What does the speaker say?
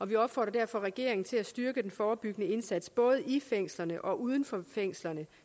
vi opfordrer derfor regeringen til at styrke den forebyggende indsats både i fængslerne og uden for fængslerne